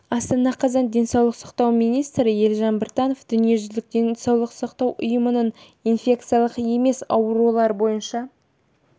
астана қазан денсаулық сақтау министрі елжан біртанов дүниежүзілік денсаулық сақтау ұйымының инфекциялық емес аурулар бойынша